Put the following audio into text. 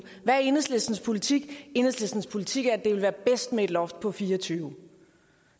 hvad er enhedslistens politik enhedslistens politik er at det ville være bedst med et loft på fireogtyvende